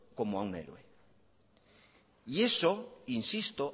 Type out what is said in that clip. como a un héroe y eso insisto